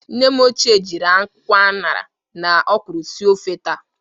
Nne m ochie jiri akwụkwọ añara na ọkwụrụ sie ofe taa